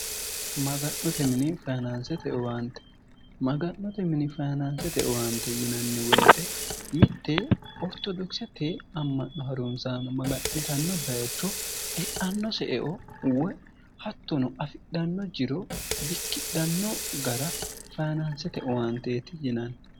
maga'note mini fayinaansete owaante yinanni woyite mitte ortodokisete amma'no harunzaamo maga'nitanno bayicho e'anno se eo woy hattono afidhanno jiro bikkidhanno gara fayinaansete owaanteeti yinanni